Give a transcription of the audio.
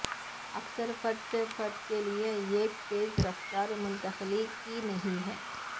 اکثر فرد سے فرد کے لئے ایک تیز رفتار منتقلی کی نہیں ہے